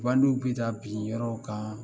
Bandi bɛ taa bin yɔrɔw kan